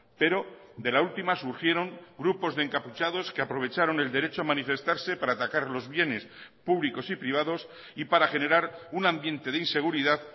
pero de la última surgieron grupos de encapuchados que aprovecharon el derecho a manifestarse para atacar los bienes públicos y privados y para generar un ambiente de inseguridad